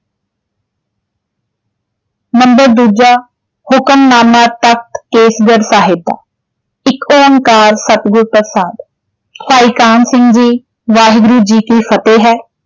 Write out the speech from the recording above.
Number ਦੂਜਾ ਹੁਕਮਨਾਮਾ ਤਖਤ ਕੇਸਗੜ੍ਹ ਸਾਹਿਬ ਦਾ ਏਕ ਓਂਕਾਰ ਸਤਿਗੁਰ ਪ੍ਰਸ਼ਾਦ ਭਾਈ ਕਾਹਨ ਸਿੰਘ ਜੀ ਵਾਹਿਗੁਰੂ ਜੀ ਕੀ ਫਤਿਹ ਹੈ।